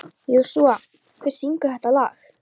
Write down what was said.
Jósúa, hver syngur þetta lag?